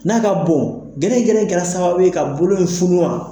N'a ka bon gɛrɛgɛrɛ in kɛra sababu ye ka bolo in funu wa?